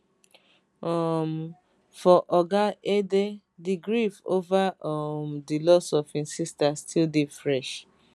um for oga edeh di grief ova um di loss of im sister still dey fresh